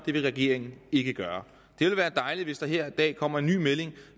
det vil regeringen ikke gøre det ville være dejligt hvis der her i dag kom en ny melding